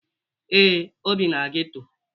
Ee, o bi na geto